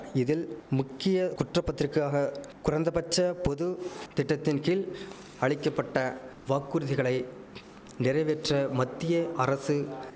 இதில் முக்கிய குற்றப்பத்திரிக்கையாக குறைந்தபட்ச பொது திட்டத்தின்கீழ் அளிக்க பட்ட வாக்குறுதிகளை நிறைவேற்ற மத்திய அரசு